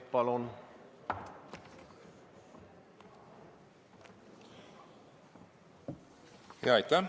Palun!